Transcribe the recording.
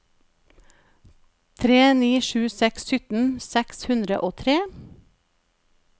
tre tre sju seks sytten seks hundre og tre